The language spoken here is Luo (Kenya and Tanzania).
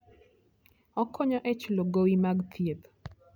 Okonyo e chulo gowi mag thieth.